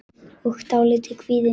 og dálítið kvíðin.